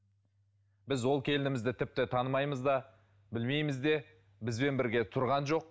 біз ол келінімізді тіпті танымаймыз да білмейміз де бізбен бірге тұрған жоқ